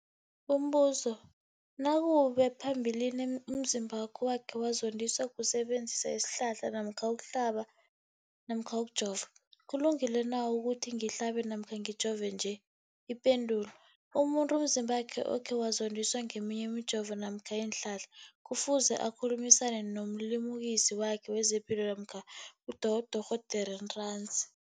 Umbuzo, nakube phambilini umzimbami wakhe wazondiswa kusebenzisa isihlahla namkha ukuhlaba, ukujova, kulungile na ukuthi ngihlabe, ngijove nje? Ipendulo, umuntu umzimbakhe okhe wazondiswa ngeminye imijovo namkha iinhlahla kufuze akhulumisane nomlimukisi wakhe wezepilo namkha nodorhoderakhe ntanzi.